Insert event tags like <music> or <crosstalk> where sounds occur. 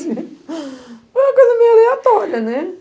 <laughs> Foi uma coisa meio aleatória, né?